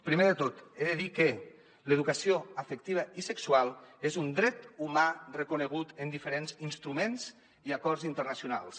primer de tot he de dir que l’educació afectiva i sexual és un dret humà reconegut en diferents instruments i acords internacionals